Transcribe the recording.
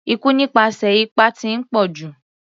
Ikú nípasẹ̀ ipá ti ń pọ̀jù.